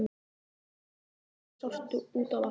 Það hafði rökkvað en samt sást út á vatnið.